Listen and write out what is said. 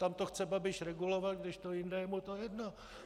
Tam to chce Babiš regulovat, kdežto jinde je mu to jedno.